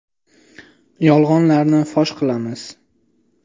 Yolg‘onlarni fosh qilamiz.